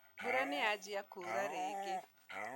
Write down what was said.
Mbura nĩyanjia kuura rĩngĩ